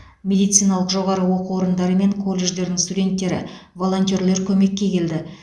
медициналық жоғары оқу орындары мен колледждерінің студенттері волонтерлер көмекке келді